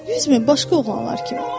Yüz min başqa oğlanlar kimi.